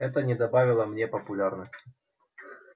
это не добавило мне популярности